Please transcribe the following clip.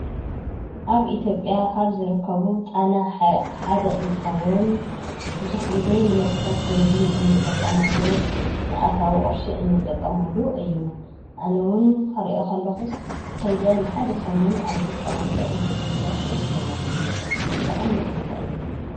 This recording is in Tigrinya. አብ ኢትዮጵያ ካብ ዝርከቡ ጣና ሀይቅ ሓደ እንትኸዉን ብዙሕ ግዜ ንመስሕብ ቱሪዝም ንጥቀመሉ ንአታዊ ቅርሺ ንጥቀመሉ እዪ። አነ ዉን ክሪኦ ከለኹስ ከይደ ንሓደ ሰሙን አብዚ ፀኒሐ እንትምለስ ደስ ምበለኒ፣ ዘቅንእ ቦታ እዪ ።